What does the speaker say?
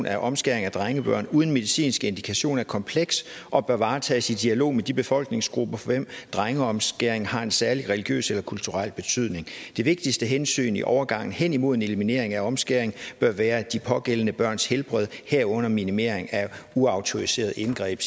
af omskæring af drengebørn uden medicinsk indikation er kompleks og bør varetages i dialog med de befolkningsgrupper for hvem drengeomskæring har en særlig religiøs eller kulturel betydning det vigtigste hensyn i overgangen hen imod eliminering af omskæring bør være de pågældende børns helbred herunder minimering af uautoriserede indgreb